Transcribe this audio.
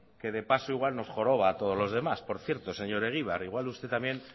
que de paso igual nos joroba a todos los demás por cierto señor egibar igual usted también